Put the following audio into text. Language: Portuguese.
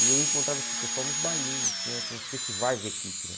E eu encontrava esse pessoal nos bailinhos, tinha tinha uns festivais de equipe, né?